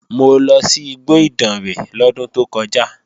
Mo lọ sí igbó Ìdànrè lọ́dún tó kọjá